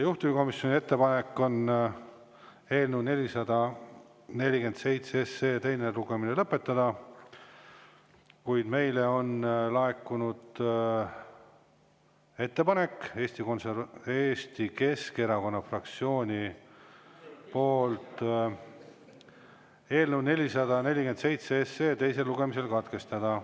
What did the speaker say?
Juhtivkomisjoni ettepanek on eelnõu 447 teine lugemine lõpetada, kuid meile on laekunud ettepanek Eesti Keskerakonna fraktsioonilt eelnõu 447 teine lugemine katkestada.